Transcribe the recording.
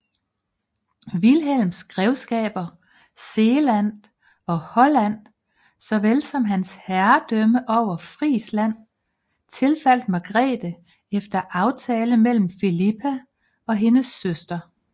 Vilhelms grevskaber Zeeland og Holland såvel som hans herredømme over Frisland tilfaldt Margrete efter aftale mellem Filippa og hendes søster